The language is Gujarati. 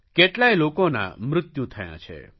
કેટલાય લોકોનાં મૃત્યુ થયાં છે